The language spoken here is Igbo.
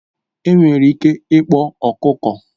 Enwere ike ịkpọ ọkụkọ